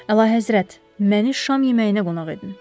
Əlahəzrət, məni şam yeməyinə qonaq edin.